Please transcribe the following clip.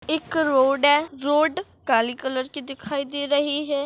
एक रोड है। रोड काले कलर की दिखाई दे रही है।